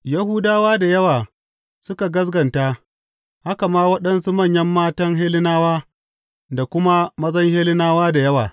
Yahudawa da yawa suka gaskata, haka ma waɗansu manyan matan Hellenawa da kuma mazan Hellenawa da yawa.